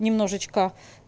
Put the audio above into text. немножечко